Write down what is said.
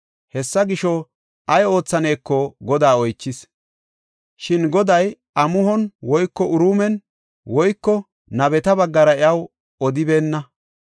Hessa gisho, ay oothaneko Godaa oychis; shin Goday amuhon woyko Uriimen woyko nabeta baggara iyaw odibeenna.